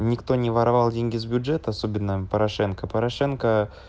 никто не воровал деньги с бюджета особенно порошенко порошенко